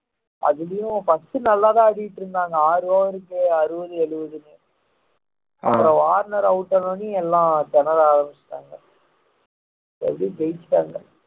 அதுலயும் first நல்லாதான் ஆடிட்டு இருந்தாங்க ஆறு over க்கு அறுபது எழுபதுன்னு அப்புறம் ஆன உடனே எல்லாம் திணற ஆரம்பிச்சுட்டாங்க எப்படி ஜெயிச்சிட்டாங்க